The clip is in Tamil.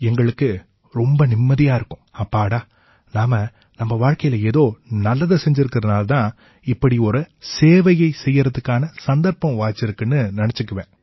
எங்களுக்கு ரொம்ப நிம்மதியா இருக்கும் அப்பாடா நாம நம்ம வாழ்க்கையில ஏதோ நல்லதைச் செய்திருக்கறதாலேயே இப்படி ஒரு சேவையை செய்யறதுக்கான சந்தர்ப்பம் வாய்ச்சிருக்குன்னு நினைச்சுக்குவேன்